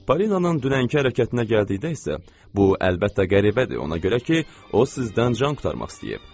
Polinanın dünənki hərəkətinə gəldikdə isə, bu, əlbəttə, qəribədir, ona görə ki, o sizdən can qurtarmaq istəyib.